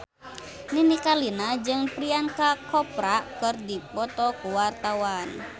Nini Carlina jeung Priyanka Chopra keur dipoto ku wartawan